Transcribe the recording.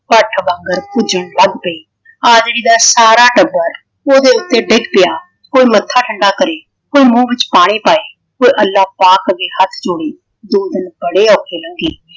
ਭੱਠ ਵੰਗਰ ਪੂਜਣ ਲੱਗ ਪਈ। ਆਜੜੀ ਦਾ ਸਾਰਾ ਟੱਬਰ ਓਹਦੇ ਉੱਤੇ ਡਿੱਗ ਪਿਆ। ਕੋਈ ਮੱਥਾ ਠੰਡਾ ਕਰੇ ਕੋਈ ਮੂੰਹ ਵਿੱਚ ਪਾਣੀ ਪਾਏ ਕੋਈ ਅੱਲਾਂ ਪਾਕ ਅੱਗੇ ਹੱਥ ਜੋੜੇ ਦੋ ਦਿਨ ਬੜੇ ਔਖੇ ਲੰਘੇ।